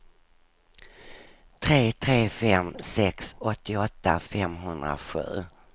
tre tre fem sex åttioåtta femhundrasju